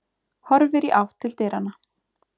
Horfir í átt til dyranna.